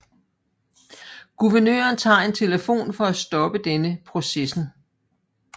Guvernøren tager en telefon for at stoppe denne processen